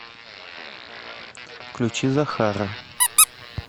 включи захара